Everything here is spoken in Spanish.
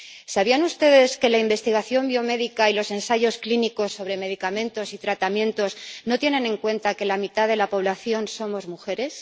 ¿Sabían ustedes que la investigación biomédica y los ensayos clínicos sobre medicamentos y tratamientos no tienen en cuenta que la mitad de la población somos mujeres?